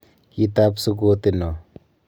Kitab sukoti noo.